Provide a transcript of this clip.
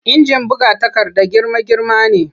Injin buga takarda girma-girma ne